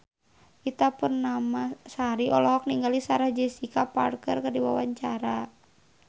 Ita Purnamasari olohok ningali Sarah Jessica Parker keur diwawancara